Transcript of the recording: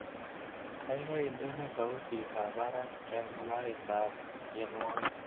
Gaigai indene sautitab Barak eng laindab tyenwogik